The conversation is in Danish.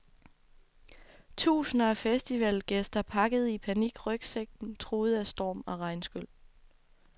Tusinder af festivalgæster pakkede i panik rygsækken truet af storm og regnskyl.